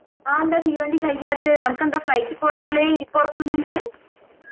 ആന്താ തീവണ്ടി കയ്യാത്തെ ആനക്കെന്താ flight പോയാലെ ഇരിപ്പുറക്കുന്നുണ്ട്‌